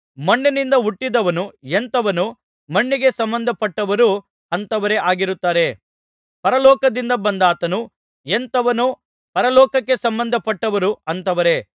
ಮಣ್ಣಿನಿಂದ ಹುಟ್ಟಿದವನು ಎಂಥವನೋ ಮಣ್ಣಿಗೆ ಸಂಬಂಧಪಟ್ಟವರೂ ಅಂಥವರೇ ಆಗಿರುತ್ತಾರೆ ಪರಲೋಕದಿಂದ ಬಂದಾತನು ಎಂಥವನೋ ಪರಲೋಕಕ್ಕೆ ಸಂಬಂಧಪಟ್ಟವರೂ ಅಂಥವರೇ